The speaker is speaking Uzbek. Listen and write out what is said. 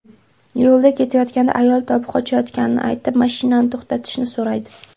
Yo‘lda ketayotganda ayol tobi qochayotganini aytib, mashinani to‘xtatishni so‘raydi.